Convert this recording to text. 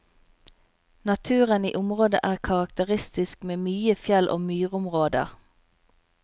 Naturen i området er karakteristisk med mye fjell og myrområder.